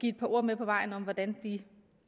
et par ord med på vejen om hvordan de